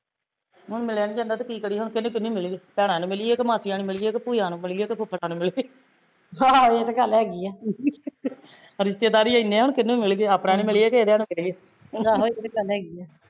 ਹੁਣ ਮਿਲਿਆ ਨੀ ਜਾਂਦਾ ਤੇ ਕੀ ਕਰੀਏ, ਭੈਣਾਂ ਨੂੰ ਮਿਲੀਏ ਕਿ ਮਾਸੀਆ ਨੂੰ ਮਿਲੀਏ ਕਿ ਭੂਈਂਆ ਨੂੰ ਮਿਲੀਏ ਕਿ ਫੁਫੜਾ ਨੂੰ ਮਿਲੀਏ ਰਿਸਤੇਦਾਰ ਈ ਇੰਨੇ ਆ ਕੀਹਨੂੰ ਮਿਲੀਏ ਆਪਣਿਆ ਨੂੰ ਮਿਲੀਏ ਕਿ ਇਹਦਿਆ ਨੂੰ ਮਿਲੀਏ